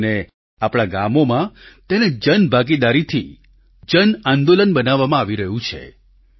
ખાસ કરીને આપણા ગામોમાં તેને જનભાગીદારી થી જનઆંદોલન બનાવવામાં આવી રહ્યું છે